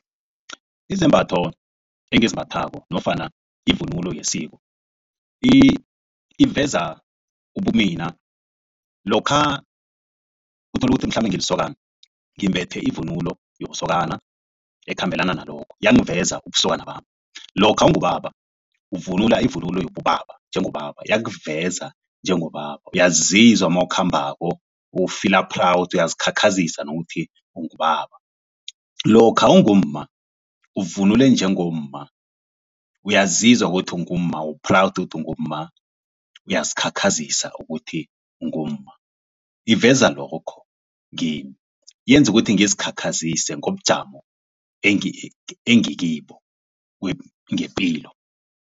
Izembatho engizimbathako nofana ivunulo yesiko iveza ubumina lokha uthola ukuthi mhlambe ngilisokana ngimbethe ivunulo yobusokana ekhambelana nalokho yangiveza ubusokana bami. Lokha ungubaba uvunula ivunulo yobubaba njengobaba iyakuveza njengobaba, uyazizwa nawukhamba ufila-proud uyazikhakhazisa nokuthi ungubaba. Lokha ungumma uvunule njengomma uyazizwa ukuthi ungumma u-proud ukuthi ungumma uyazikhakhazisa ukuthi ungumma, iveza lokho kimi yenza ukuthi ngizikhakhazisa ngobujamo engikibo ngepilo.